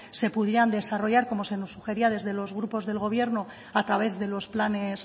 se pudieran desarrollar como se os sugería desde los grupos del gobierno a través de los planes